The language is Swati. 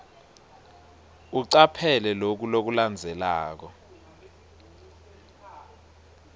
ucaphele loku lokulandzelako